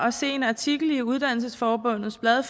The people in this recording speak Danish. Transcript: at se en artikel i uddannelsesforbundets blad